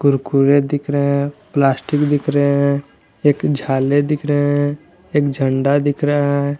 कुरकुरे दिख रहे हैं प्लास्टिक दिख रहे हैं एक झाले दिख रहे हैं एक झंडा दिख रहा है।